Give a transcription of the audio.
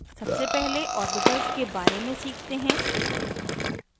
सबसे पहले ऑर्बिटल्स के बारे में सीखते हैं